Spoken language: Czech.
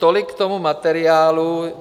Tolik k tomu materiálu.